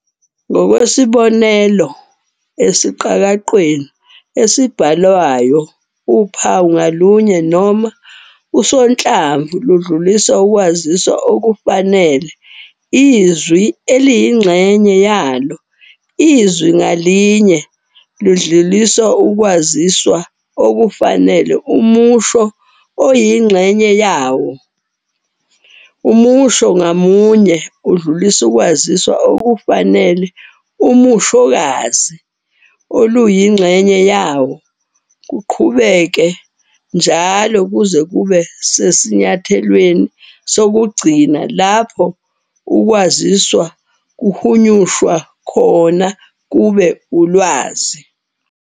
Ngokwesibonelo, esiqakaqweni esibhalwayo uphawu ngalunye noma usonhlamvu ludlulisa ukwaziswa okufanele izwi eliyingxenye yalo, izwi ngalinye ludlulisa ukwaziswa okufanele umusho oluyingxenye yawo, umusho ngamunye udlulisa ukwaziswa okufanele umushokazi oluyingxenye yawo, kuqhubeke njalo kuze kube sesinyathelweni sokugcina lapho ukwaziswa kukhunyushwa khona kube ulwazi.